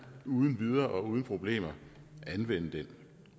uden videre og uden problemer kan anvende det